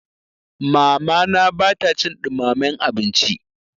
Mamana ba ta cin ɗumamen abinci.